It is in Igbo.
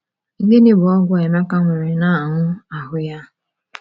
Gịnị bụ ogwu a Emeka nwere n’anụ ahụ́ ya?